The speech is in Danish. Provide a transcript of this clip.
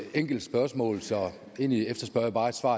enkelt spørgsmål så egentlig efterspørger jeg bare et svar